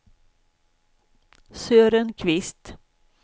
Sören Kvist